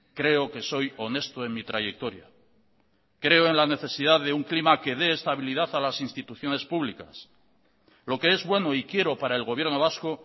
creo que soy honesto en mi trayectoria creo en la necesidad de un clima que dé estabilidad a las instituciones públicas lo que es bueno y quiero para el gobierno vasco